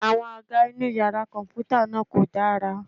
Àwọn àga inú yàrá kọ̀m̀pútà náà kò dára.